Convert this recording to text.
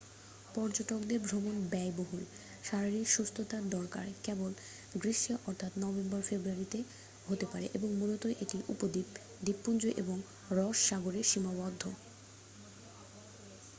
পর্যটকদের ভ্রমণ ব্যয়বহুল শারীরিক সুস্থতার দরকার কেবল গ্রীষ্মে অর্থাৎ নভেম্বর-ফেব্রুয়ারিতে হতে পারে এবং মূলত এটি উপদ্বীপ দ্বীপপুঞ্জ এবং রস সাগরে সীমাবদ্ধ